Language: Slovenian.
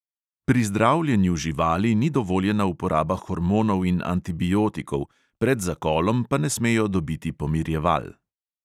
Pri zdravljenju živali ni dovoljena uporaba hormonov in antibiotikov, pred zakolom pa ne smejo dobiti pomirjeval.